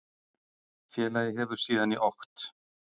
Félagið hefur síðan í okt